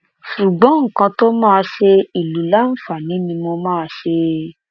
ṣùgbọn nǹkan tó máa ṣe ìlú láǹfààní ni mo máa ṣe